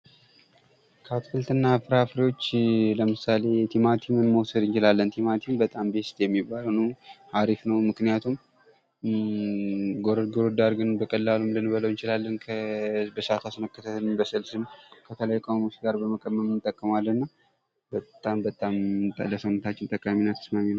ከአትክልትና ፍራፍሬዎች ለምሳሌ ቲማቲምን መውሰድ እንችላለን። ቲማቲም በጣም አሪፍ ነው ምክንያቱም ጎረድ ጎረድ አድርገን በቀላሉ ልንበላው እንችላለን። በእሳት አስነክተን በስልስም ከፈለግን ቅመሞች ጋር በመቀመም እንጠቀመዋለን። በጣም በጣም ለ ሰውነታችን ጠቃሚ እና ተስማሚ ነው።